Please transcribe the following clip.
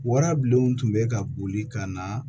Warabilenw tun bɛ ka boli ka na